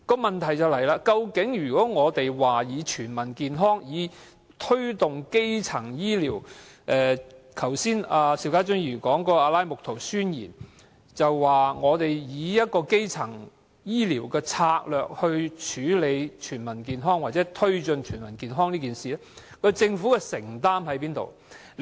問題是如果我們要推動基層醫療，以達致全民健康，即邵家臻議員剛才說的《阿拉木圖宣言》，則在以基層醫療策略，處理全民健康或推進全民健康方面，政府的承擔在哪裏？